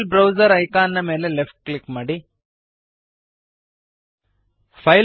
file browser icon ನ ಮೇಲೆ left click ಮಾಡಿರಿ